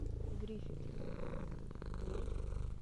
гриффит гриффит